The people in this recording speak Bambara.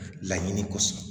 Laɲini kosɔn